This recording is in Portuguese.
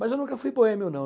Mas eu nunca fui boêmio, não.